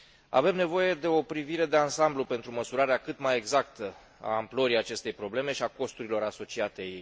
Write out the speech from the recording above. Avem nevoie de o privire de ansamblu pentru măsurarea cât mai exactă a amplorii acestei probleme și a costurilor asociate ei.